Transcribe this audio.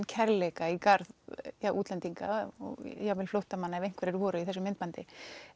kærleika í garð útlendinga og já flóttamanna ef einhverjir voru í þessu myndbandi